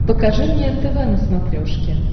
покажи мне нтв на смотрешке